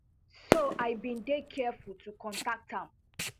so i bin dey careful to contact am